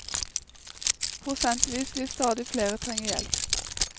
Prosentvis vil stadig flere trenge hjelp.